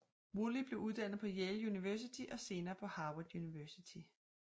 Woolley blev uddannet på Yale University og senere på Harvard University